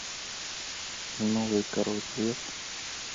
новый король лев